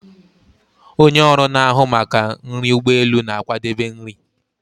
Onye ọrụ na-ahụ maka nri ụgbọ elu na-akwadebe nri